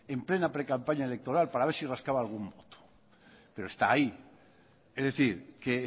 en plena precampaña electoral para ver si rascaba algún voto pero está ahí es decir que